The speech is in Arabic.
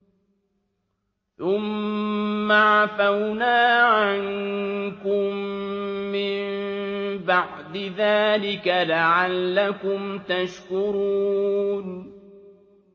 ثُمَّ عَفَوْنَا عَنكُم مِّن بَعْدِ ذَٰلِكَ لَعَلَّكُمْ تَشْكُرُونَ